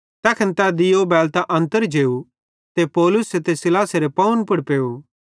तैखन तै दीयो बैलतां अन्तर जेव ते पौलुसे ते सीलासेरे पावन पुड़ पेव